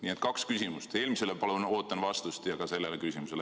Nii et kaks küsimust, ootan vastust eelmisele ja ka sellele küsimusele.